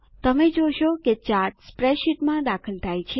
તમે જોશો કે ચાર્ટ સ્પ્રેડશીટમાં દાખલ થાય છે